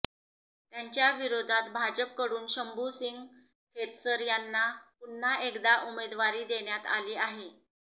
त्यांच्याविरोधात भाजपकडून शंभू सिंग खेतसर यांना पुन्हा एकदा उमेदवारी देण्यात आली आहे